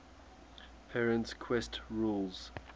perrin's quest rules